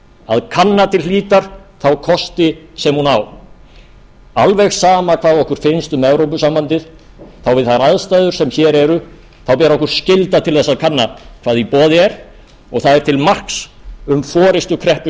að kanna til hlítar þá kosti sem hún á alveg sama hvað okkur finnst um evrópusambandið við þær aðstæður sem hér eru ber okkur skylda til þess að kanna hvað í boði er og það er til marks um forustukreppu sjálfstæðisflokksins að hafa